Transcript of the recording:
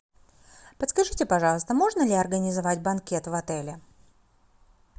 подскажите пожалуйста можно ли организовать банкет в отеле